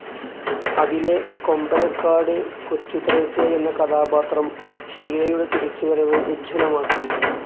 അതിലെ കൊമ്പനക്കാട്ട്‌ കൊച്ചുത്രേസ്യ എന്ന കഥാപാത്രം ഷീലയുടെ തിരിച്ചുവരവ്‌ ഉജ്ജ്വലമാക്കി.